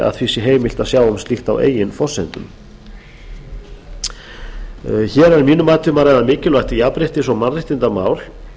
að því heimilt að sjá um slíkt á eigin forsendum hér er að mínu mati um að ræða mikilvægt jafnréttis og mannréttindamál